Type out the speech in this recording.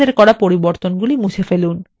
আমাদের করা পরিবর্তনগুলি মুছে ফেলুন